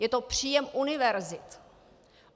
Je to příjem univerzit.